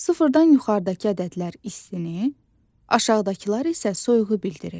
Sıfırdan yuxarıdakı ədədlər istini, aşağıdakılar isə soyuğu bildirir.